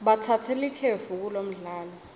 batsatse likefu kulomdlalo